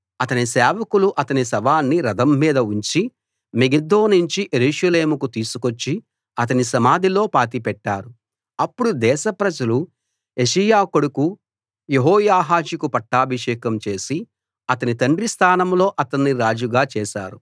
అతని సేవకులు అతని శవాన్ని రథం మీద ఉంచి మెగిద్దో నుంచి యెరూషలేముకు తీసుకొచ్చి అతని సమాధిలో పాతిపెట్టారు అప్పుడు దేశ ప్రజలు యోషీయా కొడుకు యెహోయాహాజుకు పట్టాభిషేకం చేసి అతని తండ్రి స్థానంలో అతన్ని రాజుగా చేశారు